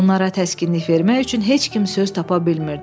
Onlara təskinlik vermək üçün heç kim söz tapa bilmirdi.